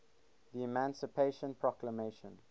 the emancipation proclamation